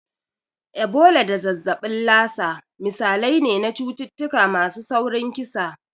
Ebola da zazzabin Lassa misalai ne na cututtuka masu saurin kisa.